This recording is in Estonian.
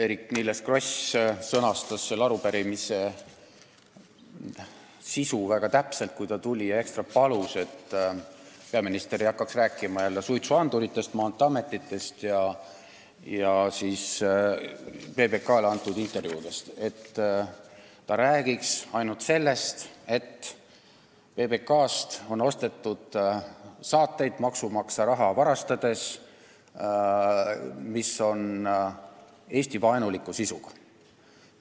Eerik-Niiles Kross sõnastas selle arupärimise sisu väga täpselt, kui ta tuli siia ja ekstra palus, et peaminister ei hakkaks jälle rääkima suitsuanduritest, Maanteeametist ega PBK-le antud intervjuudest, vaid räägiks ainult sellest, et PBK-lt on maksumaksja raha varastades ostetud saateid, mis on Eesti-vaenuliku sisuga.